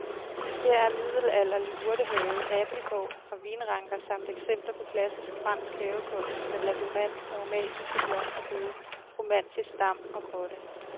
Her er middelalderlig urtehave, abildgård og vinranker samt eksempler på klassisk fransk havekunst med labyrint, aromatiske blomsterbede, romantisk dam og grotte.